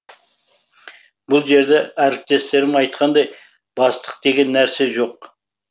бұл жерде әріптестерім айтқандай бастық деген нәрсе жоқ